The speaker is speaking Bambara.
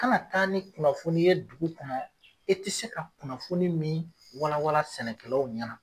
Kana taa ni kunnafoni ye dugu kɔnɔ, i ti se ka kunnafoni min wala wala sɛnɛkɛlaw ɲɛna